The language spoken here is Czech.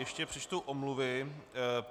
Ještě přečtu omluvy.